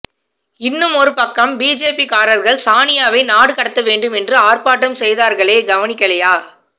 இன்னுமொரு பக்கம் பிஜேபீ காரர்கள் சானியாவை நாடுகடத்தவேண்டும் என்று ஆர்ப்பாட்டம் செய்தார்களே கவனிக்கலியா